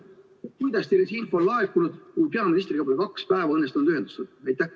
Kuidas teile see info siis on laekunud, kui juba kaks päeva pole õnnestunud peaministriga ühendust võtta?